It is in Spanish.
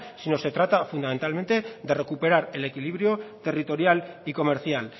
sino se trata fundamentalmente de recuperar el equilibrio territorial y comercial